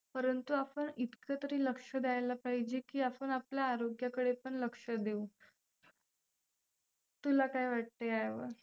परंतु आपण इतकं तरी लक्ष द्यायला पाहिजे की आपण आपल्या आरोग्याकडे पण लक्ष देऊ. तुला काय वाटतंय यावर?